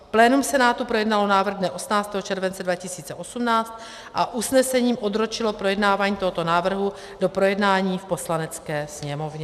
Plénum Senátu projednalo návrh dne 18. července 2018 a usnesením odročilo projednávání tohoto návrhu do projednání v Poslanecké sněmovně.